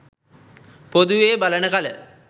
පොදුවේ බලන කල